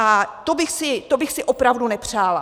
A to bych si opravdu nepřála.